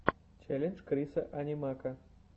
челлендж крисса анимака